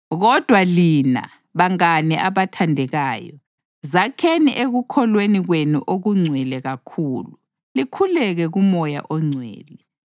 Kodwa lina, bangane abathandekayo, zakheni ekukholweni kwenu okungcwele kakhulu likhuleke kuMoya oNgcwele,